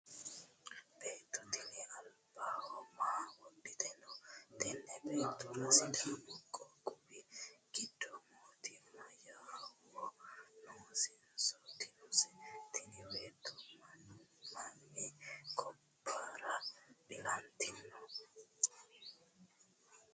beetto tini albaho maa wohite noote? tenne beettora sidaamu qoqowi giddo mootimmate yawo noosenso dinose? tini beetto mami gobbara ilantinote?